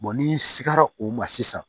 n'i sigara o ma sisan